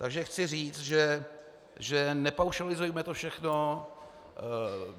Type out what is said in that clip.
Takže chci říct, že nepaušalizujme to všechno.